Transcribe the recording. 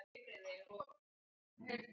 Hann fékk að vísu